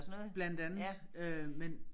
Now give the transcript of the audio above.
Blandt andet øh men